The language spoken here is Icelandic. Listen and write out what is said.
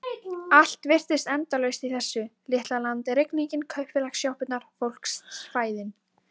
Allt virtist endalaust í þessu litla landi: rigningin, kaupfélagssjoppurnar, fólksfæðin.